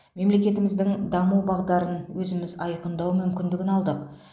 мемлекетіміздің даму бағдарын өзіміз айқындау мүмкіндігін алдық